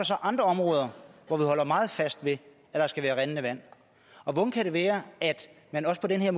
så andre områder hvor vi holder meget fast ved at der skal være rindende vand og hvordan kan det være at man også på den her